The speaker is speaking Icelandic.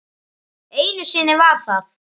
Einu sinni var það